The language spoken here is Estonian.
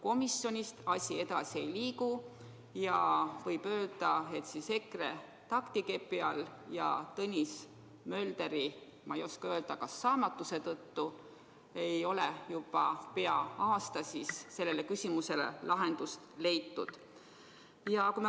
Komisjonist asi edasi ei liigu ja võib öelda, et EKRE taktikepi all ja Tõnis Möldri, ma ei oska öelda, kas saamatuse tõttu ei ole juba pea aasta sellele küsimusele lahendust leitud.